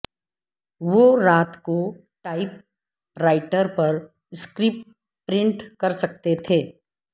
وہ رات کو ٹائپ رائٹر پر سکرپٹ پرنٹ کرسکتے تھے